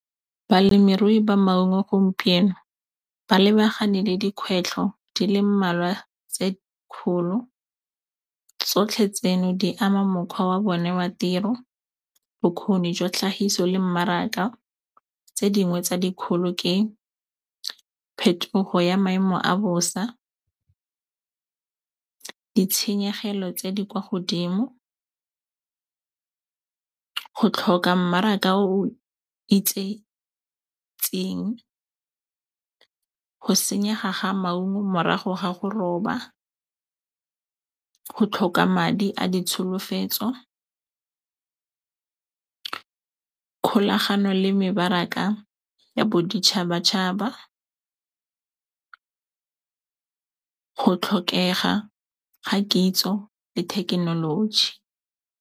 Balemirui ba maungo gompieno ba lebagane le dikgwetlho di le mmalwa tse kgolo. Tsotlhe tseno di ama mokgwa wa bone wa tiro, bokgoni jwa tlhagiso le mmaraka. Tse dingwe tse dikgolo ke phetogo ya maemo a bosa, ditshenyegelo tse di kwa godimo, go tlhoka mmaraka o o itsetseng, go senyega ga maungo morago ga go roba, go tlhoka madi a ditsholofetso, kgolagano le mebaraka ya boditšhabatšhaba, go tlhokega ga kitso le thekenoloji.